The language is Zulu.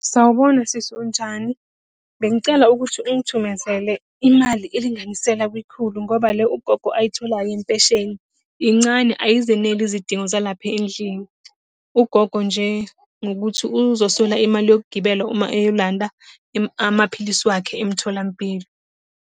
Sawubona sisi, unjani? Bengicela ukuthi ungithumezele imali elinganiselwa kwikhulu, ngoba le ugogo ayitholayo yempesheni, incane ayizeneli izidingo zalapha endlini. Ugogo nje, ngokuthi uzoswela imali yokugibela uma eyolanda amaphilisi wakhe emtholampilo.